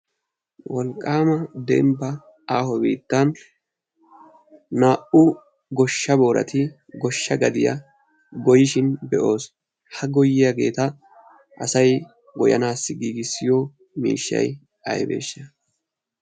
Wolqaama dembba aaho biittan naa"u goshsha boorati goshsha gadiya goyyishin be"os. Ha goyyiyageeta asay goyyanaassi giigissiyo miishshay ayibeeshsha?